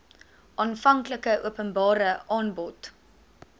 aanvanklike openbare aanbod